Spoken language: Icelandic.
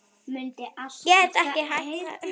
Gæti ekki haft það betra.